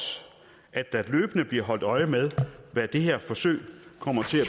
at der løbende bliver holdt øje med hvad det her forsøg kommer til at